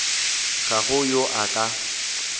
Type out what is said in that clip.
ga go yo a ka